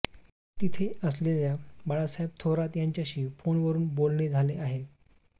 तिथे असलेल्या बाळासाहेब थोरात यांच्याशी फोनवरून बोलणे झाले आहे